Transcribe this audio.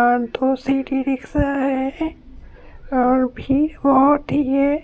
और दो city rickshaw है और भीड़ बहुत ही है।